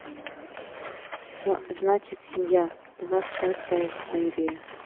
с значит семья двадцатая серия